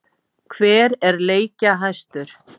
Hver er leikjahæstur?